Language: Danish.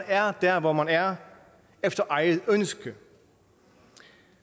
er der hvor man er efter eget ønske